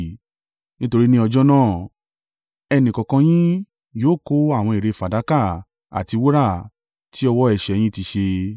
Nítorí ní ọjọ́ náà, ẹnìkọ̀ọ̀kan yín yóò kọ àwọn ère fàdákà àti wúrà tí ọwọ́ ẹ̀ṣẹ̀ yín ti ṣe.